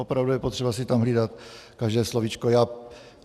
Opravdu je potřeba si tam hlídat každé slovíčko.